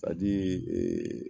ee